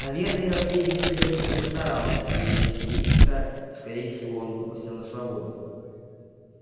наверное наследник слизерина постарался ведь василиска скорее всего он выпустил на свободу